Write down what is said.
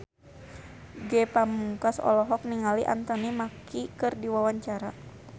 Ge Pamungkas olohok ningali Anthony Mackie keur diwawancara